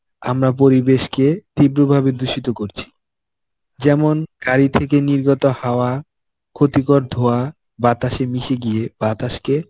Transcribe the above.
আমরা পরিবেশকে তীব্রভাবে দূষিত করছি. যেমন গাড়ি থেকে নির্গত হাওয়া ক্ষতিকর ধোঁয়া বাতাসে মিশে গিয়ে বাতাসকে